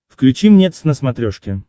включи мне твз на смотрешке